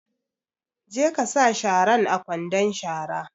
Je ka sa sharan a kwandon shara!